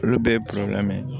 Olu bɛɛ ye ye